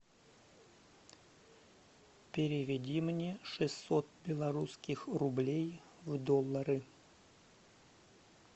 переведи мне шестьсот белорусских рублей в доллары